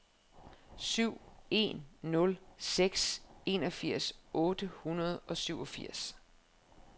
syv en nul seks enogfirs otte hundrede og syvogfirs